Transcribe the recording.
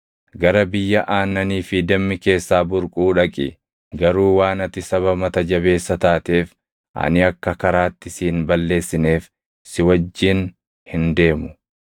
Gara biyya aannanii fi dammi keessaa burquu dhaqi. Garuu waan ati saba mata jabeessa taateef ani akka karaatti si hin balleessineef si wajjin hin deemu.”